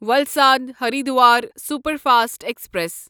Valsad Haridwar superfast express